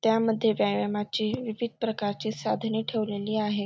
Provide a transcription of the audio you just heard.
त्यामध्ये व्यायामाची विविध प्रकारची साधने ठेवलेली आहे.